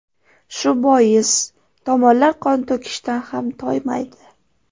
Shu bois tomonlar qon to‘kishdan ham toymaydi.